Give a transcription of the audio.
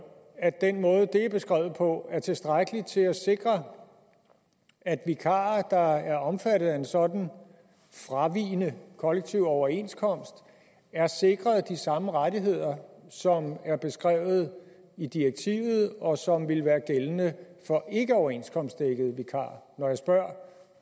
at den måde det er beskrevet på er tilstrækkelig til at sikre at vikarer der er omfattet af en sådan fravigende kollektiv overenskomst er sikret de samme rettigheder som er beskrevet i direktivet og som vil være gældende for ikkeoverenskomstdækkede vikarer når jeg spørger